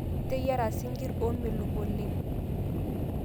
Iteyiara sinkir omelok oleng